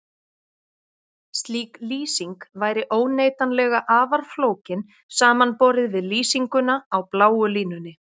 Slík lýsing væri óneitanlega afar flókin samanborið við lýsinguna á bláu línunni.